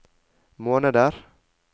måneder